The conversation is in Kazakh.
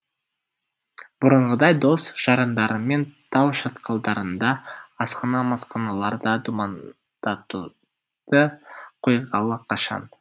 бұрынғыдай дос жарандарымен тау шатқалдарында асхана масханаларда думандатуды қойғалы қашан